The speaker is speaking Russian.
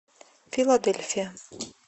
филадельфия